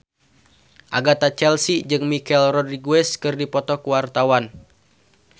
Agatha Chelsea jeung Michelle Rodriguez keur dipoto ku wartawan